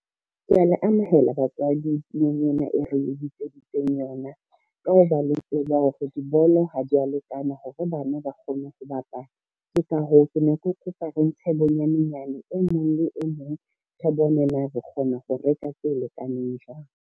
Kea le amohela batswadi tulong ena e re le bitseditseng yona. Ka ho ba le tseba hore dibolo ha di a lekana hore bana ba kgone ho bapala. Ke ka hoo ke ne ke kopa re ntshe bonyane nyane e mong le e mong re bone na re kgona ho reka tse lekaneng jwang.